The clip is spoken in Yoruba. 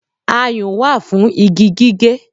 Ayùn wá fún igi gígé